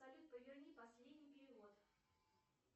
салют поверни последний перевод